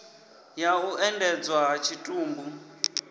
ya u endedzwa ha tshitumbu